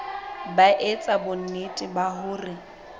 ba etsa bonnete ba hore